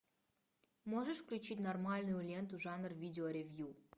можешь включить нормальную ленту жанр видео ревью